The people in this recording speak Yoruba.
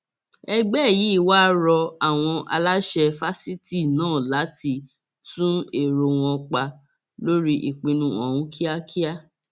ó ní ọwọ òfin yóò tẹ ọmọkùnrin náà láìpẹ torí pé ẹgbẹrún sáàmù rẹ kó lè sá mọ òfin lọwọ